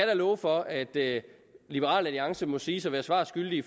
da love for at liberal alliance må siges at være svar skyldig